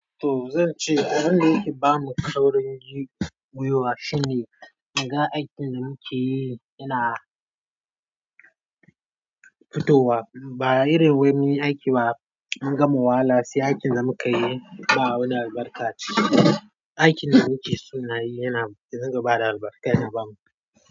To zan ce abin da yake ba mu kaurin gwiwa shine in gan aikin da muke yi yana fitowa. Ba irin wani aiki ba, an gama wahala sai aikin da muka yi ba wani albarka a ciki. Aikin da muke so nayi, yana, ya dinga bada albarka, yana.